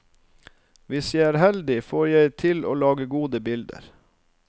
Hvis jeg er heldig, får jeg til å lage gode bilder.